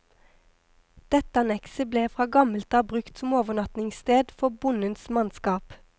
Dette annekset ble fra gammelt av brukt som overnattingssted for bondens mannskap.